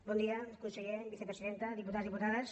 bon dia conseller vice·presidenta diputats i diputades